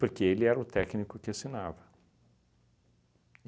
Porque ele era o técnico que assinava.